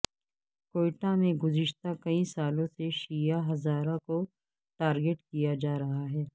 کوئٹہ میں گذشتہ کئی سالوں سے شیعہ ہزارہ کو ٹارگٹ کیا جا رہا ہے